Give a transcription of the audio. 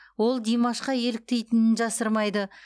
ол димашқа еліктейтінін жасырмайды